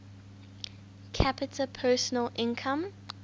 capita personal income